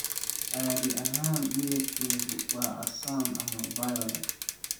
Caadi ahaan midabkeedu waa casaan ama violet.